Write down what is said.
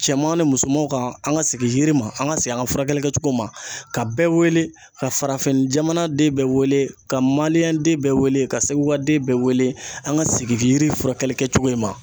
Cɛman ni musomanw ka an ka sigi yiri ma an ka segin an ka furakɛli kɛcogo ma ka bɛɛ wele ka farafin jamanaden bɛɛ wele ka manje den bɛɛ weele ka seguka den bɛɛ wele an ka segin yiri furakɛli kɛcogo in ma.